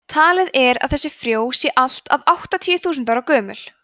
talið er að þessi frjó séu allt að áttatíu þúsund ára gömul